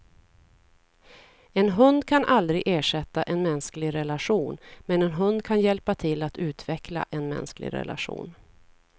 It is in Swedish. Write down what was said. En hund kan aldrig ersätta en mänsklig relation, men en hund kan hjälpa till att utveckla en mänsklig relation.